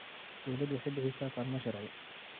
Dawladdu waxay bixisaa kaalmo sharci.